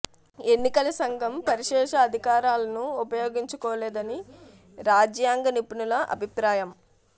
ఎన్నికల సంఘం పరిశేష అధి కారాలను ఉపయోగించుకోలేదని రాజ్యాంగ నిపుణుల అభిప్రాయం